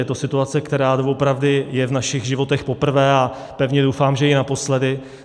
Je to situace, která doopravdy je v našich životech poprvé, a pevně doufám, že i naposledy.